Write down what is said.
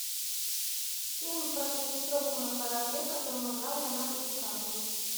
фильм про катастрофу на корабле в котором играл леонардо ди каприо